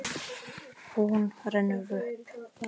Hún rennur upp.